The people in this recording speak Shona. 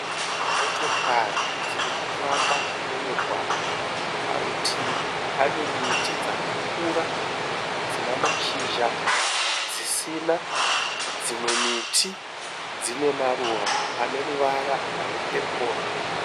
Motokari dziri kufamba mumugwagwa. Parutivi pane miti dzakakura dzine mashizha dzisina. Dzimwe miti dzine maruva ane ruvara rwepepuro.